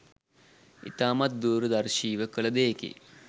ඉතාමත් දූරදර්ශීව කළ දෙයකි